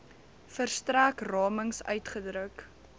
verstrek ramings uitgedruk